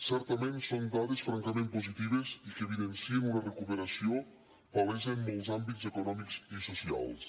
certament són dades francament positives i que evidencien una recuperació palesa en molts àmbits econòmics i socials